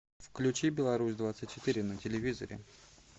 включи беларусь двадцать четыре на телевизоре